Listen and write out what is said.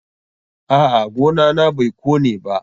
A'a, gona na bai kone ba.